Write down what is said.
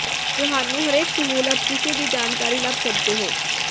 ਤੁਹਾਨੂੰ ਹਰੇਕ ਸਹੂਲਤ ਕਿਸੇ ਵੀ ਜਾਣਕਾਰੀ ਲੱਭ ਸਕਦੇ ਹੋ